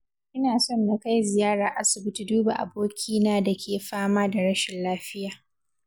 Ina son na kai ziyara aisibiti duba abokina da ke fama da rashinlafiya.